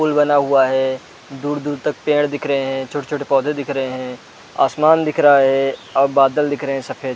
पुल बना हुआ है दूर-दूर तक पेड़ दिख रहै है छोटे-छोटे पौधे दिख रहै है आसमान दिख रहा है और बादल दिख रहै है सफ़ेद--